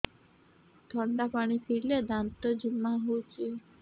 ଥଣ୍ଡା ପାଣି ପିଇଲେ ଦାନ୍ତ ଜିମା ହଉଚି